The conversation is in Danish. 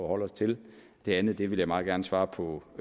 holde os til det andet vil jeg meget gerne svare på